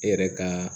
E yɛrɛ ka